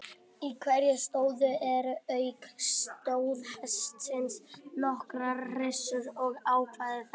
Í hverju stóði eru auk stóðhestsins nokkrar hryssur og afkvæmi þeirra.